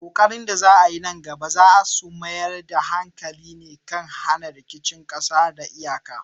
Ƙoƙarin da za a yi nan gaba za su mayar da hankali ne kan hana rikicin ƙasa da kan iyaka.